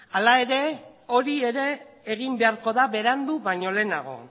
hala ere hori ere egin beharko da berandu baino lehenago